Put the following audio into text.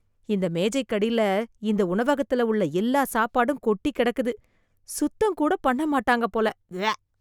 இந்த மேஜைக்கடில இந்த உணவகத்துல உள்ள எல்லா சாப்பாடும் கொட்டிக் கிடக்குது. சுத்தம் கூட பண்ண மாட்டாங்க போல. உவேக்.